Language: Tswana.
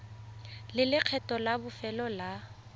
le lekgetho la bofelo la